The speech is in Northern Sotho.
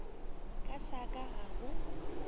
ka sa ka ga go